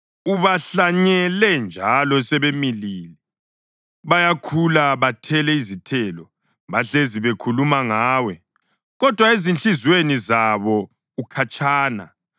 Ubahlanyele, njalo sebemilile; bayakhula bathele izithelo. Bahlezi bekhuluma ngawe, kodwa ezinhliziyweni zabo ukhatshana.